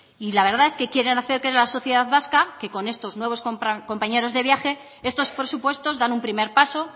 y la verdad es que quieren hacer creer a la sociedad vasca que con estos nuevos compañeros de viaje estos presupuestos dan un primer paso